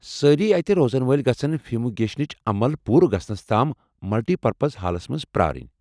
سٲری اتہِ روزَن وٲلۍ گژھن فیومیگیشنٕچ عمل پوٗرٕ گژھنَس تام ملٹی پرپز ہالَس مَنٛز پرٛارٕنۍ۔